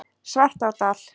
Svartárdal